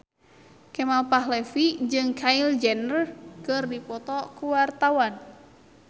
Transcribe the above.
Kemal Palevi jeung Kylie Jenner keur dipoto ku wartawan